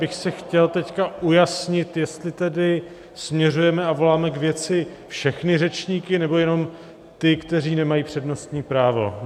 bych si chtěl teď ujasnit, jestli tedy směřujeme a voláme k věci všechny řečníky, nebo jenom ty, kteří nemají přednostní právo.